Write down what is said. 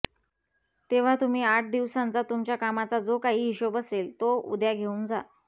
तेव्हा तुम्ही आठ दिवसांचा तुमच्या कामाचा जो काही हिशेब असेल तो उद्या घेऊन जा